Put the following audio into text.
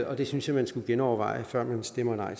og det synes jeg man skulle genoverveje før man stemmer nej